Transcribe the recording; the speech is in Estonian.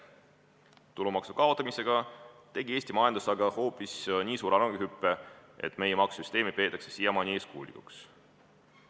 Aga selle tulumaksu kaotamisega tegi Eesti majandus hoopis nii suure arenguhüppe, et meie maksusüsteemi peetakse siiamaani eeskujulikuks.